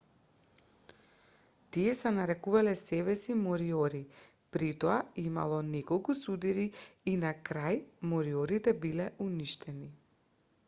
тие се нарекувале себеси мориори притоа имало неколку судири и на крај мориорите биле уништени